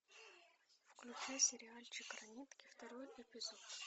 включи сериальчик ранетки второй эпизод